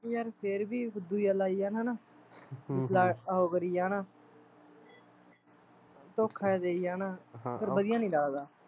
ਯਾਰ ਫੇਰ ਵੀ xx ਜਿਹਾ ਲਾਈ ਜਾਣ ਹੈਨਾ ਹਮ ਹਮ ਵਲ ਉਹ ਕਰੀ ਜਾਣ ਧੋਖਾ ਦਈ ਜਾਣ ਫੇਰ ਵਧੀਆ ਨੀ ਲੱਗਦਾ